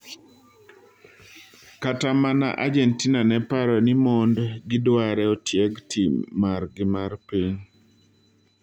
Kata mana Argentina neparo ni mond gidware otieg tim margi mar piny.